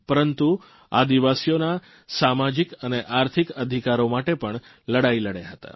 પરંતુ આદિવાસીઓના સામાજીક અને આર્થિક અધિકારો માટે પણ લડાઇ લડ્યા હતા